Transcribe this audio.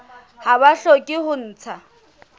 ha ba hloke ho ntsha